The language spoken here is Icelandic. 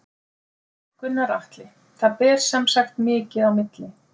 Gunnar Atli: Það ber sem sagt mikið á milli?